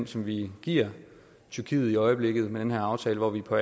som vi giver tyrkiet i øjeblikket med den her aftale hvor vi på